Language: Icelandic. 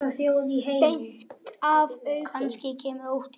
Beint af augum.